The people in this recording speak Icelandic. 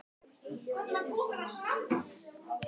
Áhuginn hefur ekkert dvínað síðan.